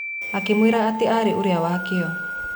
Akĩmwĩra atĩ arĩ ũrĩa wĩ kĩyo